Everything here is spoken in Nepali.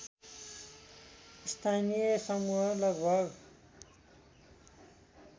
स्थानीय समूह लगभग